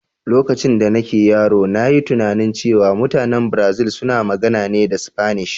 Lokacin da nake yaro, na yi tunanin cewa mutanen Brazil suna magana ne da Sfanish.